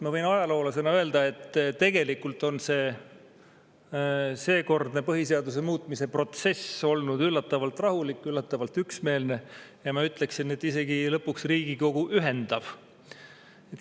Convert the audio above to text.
Ma võin ajaloolasena öelda, et tegelikult on seekordne põhiseaduse muutmise protsess olnud üllatavalt rahulik, üllatavalt üksmeelne, ja ma ütleksin, et lõpuks isegi Riigikogu ühendav.